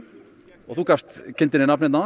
og þú gafst kindinni nafn hérna áðan